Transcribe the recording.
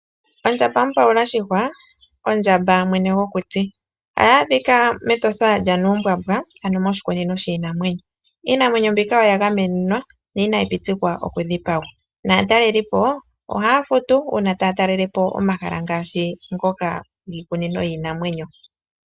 Ondjamba-pawula shihwa! Ondjamba mwene gokuti. Oha yi adhika mEtosha lyaNuumbwambwa ano moshikunino shiinamwenyo. Iinamwenyo mbika oya ga menwa na inayi pitikwa oku dhipagwa. Naatalelipo ohaa futu uuna taa talele po omahala ngaashi ngoka giikunino yiinamwenyo.